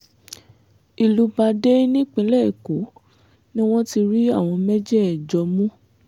ìlú badáy nípínlẹ̀ èkó ni wọ́n ti rí àwọn mẹ́jẹ̀ẹ̀jọ mú